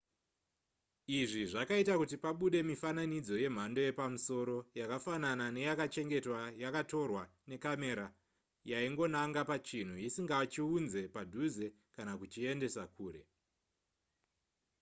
izvi zvakaita kuti pabude mifananidzo yemhando yepamusoro yakafanana neyakachengetwa yakatorwa necamera yaingonanga pachinhu isingachiunze padhuze kana kuchiendesa kure